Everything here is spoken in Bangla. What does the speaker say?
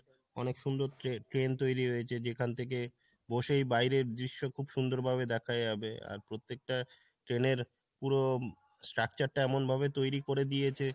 অনেক সুন্দর tra~train তৈরী হয়েছে যেখান থেকে বসেই বাইরের দৃশ্য খুব সুন্দর ভাবে দেখা যাবে আর প্রত্যেকটা train এর পুরো structure টা এমন ভাবে তৈরী করে দিয়েছে